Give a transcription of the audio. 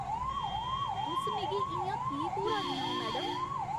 तुस मिगी इ'यां की घूरा दियां ओ, मैडम?